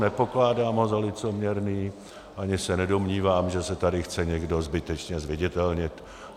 Nepokládám ho za licoměrný ani se nedomnívám, že se tady chce někdo zbytečně zviditelnit.